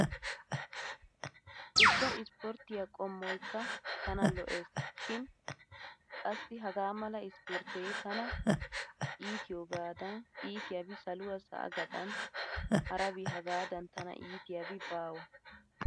Ubba ispporttiyaa qommoykka tana lo"ees shin qassi hagaa mala ispporttee tana iitiyoogada itiyaabi saluwaa sa'aa gaxan harabi hagaadan tana iitiyaabi baawa!